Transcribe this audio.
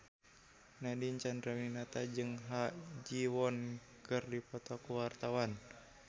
Nadine Chandrawinata jeung Ha Ji Won keur dipoto ku wartawan